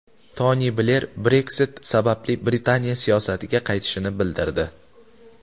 Toni Bler Brexit sababli Britaniya siyosatiga qaytishini bildirdi.